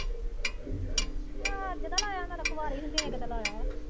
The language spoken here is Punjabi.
ਮੈਂ ਤਾਂ ਕੁਆਰੀ ਹੀ ਜਦੋਂ ਤੱਕ ਲਾਇਆ।